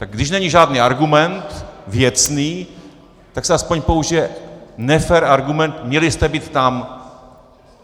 Tak když není žádný argument, věcný, tak se aspoň použije nefér argument: Měli jste být tam.